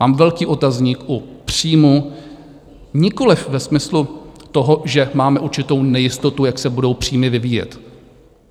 Mám velký otazník u příjmů nikoliv ve smyslu toho, že máme určitou nejistotu, jak se budou příjmy vyvíjet.